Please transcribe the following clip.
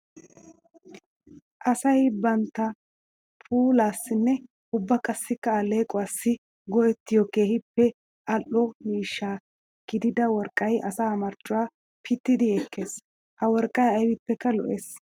Asay bantta puulassinne ubba qassikka aleqquwassi go'ettiyo keehippe ali'o miishsha gididda worqqay asaa marccuwa pittiddi ekees. Ha worqqay aybbippekka lo, ees.